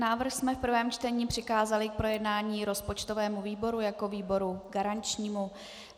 Návrh jsme v prvém čtení přikázali k projednání rozpočtovému výboru jako výboru garančnímu.